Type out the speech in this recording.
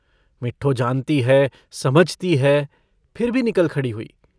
मिठ्ठो जानती है समझती है फिर भी निकल खड़ी हुई।